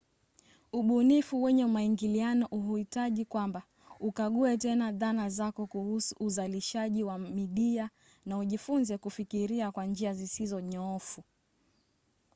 ubunifu wenye maingiliano huhitaji kwamba ukague tena dhana zako kuhusu uzalishaji wa midia na ujifunze kufikiria kwa njia zisizo nyoofu